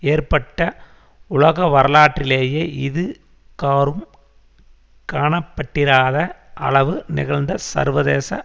ஏற்பட்ட உலகவரலாற்றிலேயே இதுகாறும் காணப்பட்டிராத அளவு நிகழ்ந்த சர்வதேச